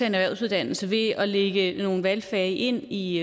en erhvervsuddannelse ved at lægge nogle valgfag ind i